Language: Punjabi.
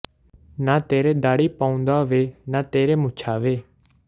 ਨਾ ਤੇਰੇ ਦਾੜੀ ਭੌਂਦੂਆ ਵੇ ਨਾ ਤੇਰੇ ਮੁੱਛਾਂ ਵੇ